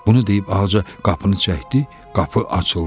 Bunu deyib Ağca qapını çəkdi, qapı açıldı.